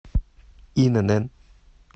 инн